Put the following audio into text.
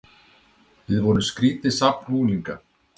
Við vorum skrýtið safn unglinga.